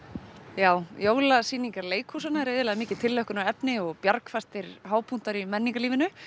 já jólasýningar leikhúsanna eru iðulega mikið tilhlökkunarefni og bjargfastir hápunktar í menningarlífinu